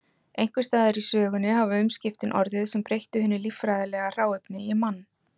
Einhvers staðar í sögunni hafa umskiptin orðið sem breyttu hinu líffræðilega hráefni í mann.